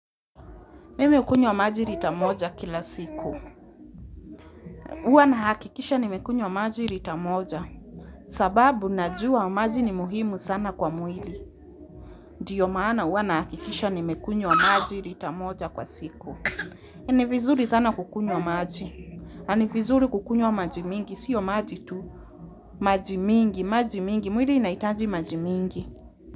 Mimi hukunywa maji lita moja kila siku. Huwa nahakikisha kuwa nimekunywa maji lita moja sababu, najua maji ni muhimu sana kwa mwili. Ndiyo maana huwa nahakikisha nimekunywa maji lita moja kwa siku. Ni vizuri sana kukunywa maji. Na ni vizuri kukunywa maji mingi. Sio maji tu. Maji mingi, maji mingi. Mwili inahitaji maji mingi.